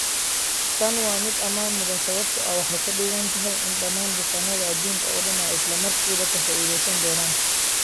Tani waa mid ammaan mudan sababtoo ah waxay ka dhigan tahay in dhammaan bukaannada adduunka oo dhan ay isla markiiba ka faa'iideysan doonaan.